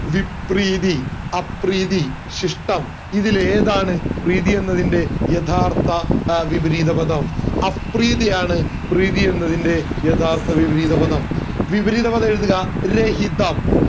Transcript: വിപ്രീതി അപ്രീതി ശിഷ്ടം ഇതിൽ ഏതാണ് പ്രീതി എന്നതിന്റെ യഥാർത്ഥ വിപരീതപദം അപ്രീതി ആണ് പ്രീതി എന്നതിന്റെ യഥാർത്ഥ വിപരീതപദം വിപരീതപദം എഴുതുക രഹിതം